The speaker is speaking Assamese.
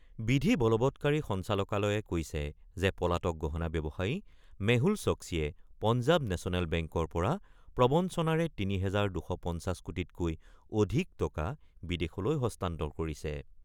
বিধি বলৱৎকাৰী সঞ্চালকালয়ে কৈছে যে পলাতক গহণা ব্যৱসায়ী মেহুল ছক্সীয়ে পঞ্জাৱ নেচনেল বেংকৰ পৰা প্ৰৱঞ্চনাৰে ৩ হেজাৰ ২৫০ কোটিতকৈ অধিক টকা বিদেশলৈ হস্তান্তৰ কৰিছে।